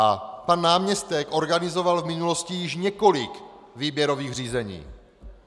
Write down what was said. A pan náměstek organizoval v minulosti již několik výběrových řízení.